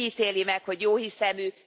Ki ítéli meg, hogy jóhiszemű?